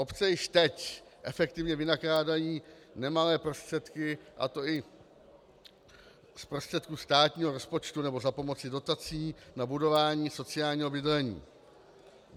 Obce již teď efektivně vynakládají nemalé prostředky, a to i z prostředků státního rozpočtu nebo za pomoci dotací, na budování sociálního bydlení.